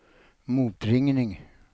motringning